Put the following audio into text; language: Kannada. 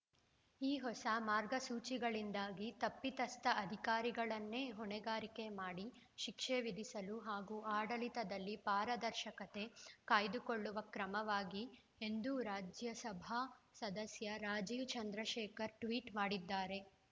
ಈ ಹೊಸ ಮಾರ್ಗಸೂಚಿಗಳಿಂದಾಗಿ ತಪ್ಪಿತಸ್ಥ ಅಧಿಕಾರಿಗಳನ್ನೇ ಹೊಣೆಗಾರಿಕೆ ಮಾಡಿ ಶಿಕ್ಷೆ ವಿಧಿಸಲು ಹಾಗೂ ಆಡಳಿತದಲ್ಲಿ ಪಾರದರ್ಶಕತೆ ಕಾಯ್ದುಕೊಳ್ಳುವ ಕ್ರಮವಾಗಿದೆ ಎಂದು ರಾಜ್ಯಸಭಾ ಸದಸ್ಯ ರಾಜೀವ್‌ ಚಂದ್ರಶೇಖರ್‌ ಟ್ವೀಟ್‌ ಮಾಡಿದ್ದಾರೆ